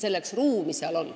Selleks seal ruumi on.